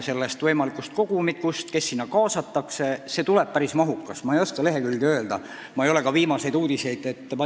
See kogumik tuleb päris mahukas, ma ei oska küll lehekülgede arvu öelda ja ma ei ole ka viimaseid uudiseid kuulnud.